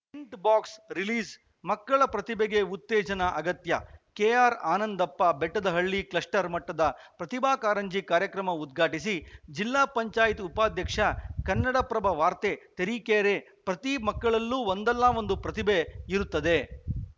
tint box ರಿಲೀಸ್‌ಮಕ್ಕಳ ಪ್ರತಿಭೆಗೆ ಉತ್ತೇಜನ ಅಗತ್ಯ ಕೆಆರ್‌ಆನಂದಪ್ಪ ಬೆಟ್ಟದಹಳ್ಳಿ ಕ್ಲಸ್ಟರ್‌ ಮಟ್ಟದ ಪ್ರತಿಭಾ ಕಾರಂಜಿ ಕಾರ್ಯಕ್ರಮ ಉದ್ಘಾಟಿಸಿದ ಜಿಪಂ ಉಪಾಧ್ಯಕ್ಷ ಕನ್ನಡಪ್ರಭ ವಾರ್ತೆ ತರೀಕೆರೆ ಪ್ರತಿ ಮಕ್ಕಳಲ್ಲೂ ಒಂದಲ್ಲ ಒಂದು ಪ್ರತಿಭೆ ಇರುತ್ತದೆ